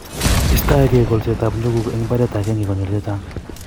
Istoeg'ei kolset ab njuguk eng mbaret ag'eng'e konyil chechang